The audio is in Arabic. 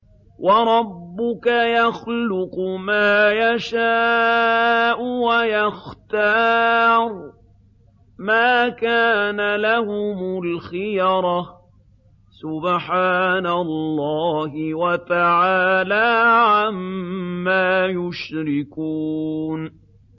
وَرَبُّكَ يَخْلُقُ مَا يَشَاءُ وَيَخْتَارُ ۗ مَا كَانَ لَهُمُ الْخِيَرَةُ ۚ سُبْحَانَ اللَّهِ وَتَعَالَىٰ عَمَّا يُشْرِكُونَ